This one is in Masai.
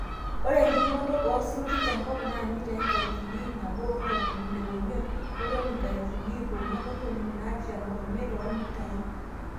ore entumoto oosinkir te nkop naa mitaii inkalifuni iip nabo o ntomoni ile oimiet oltoni inkalifuni iip onguan ontomoni naapishan oimiet too mitai